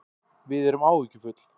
Við erum áhyggjufull